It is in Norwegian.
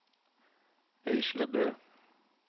Øyslebø